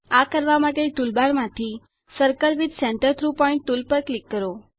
આ કરવા માટે ટૂલબાર માંથી circle with centre through point tool પર ક્લિક કરો